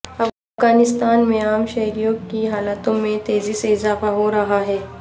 افغانستان میں عام شہریوں کی ہلاکتوں میں تیزی سے اضافہ ہو رہا ہے